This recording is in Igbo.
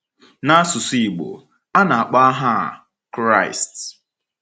N’asụsụ Igbo, a na -akpọ aha a “Kraịst .”